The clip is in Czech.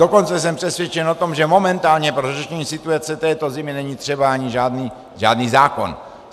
Dokonce jsem přesvědčen o tom, že momentálně pro řešení situace této zimy není třeba ani žádný zákon.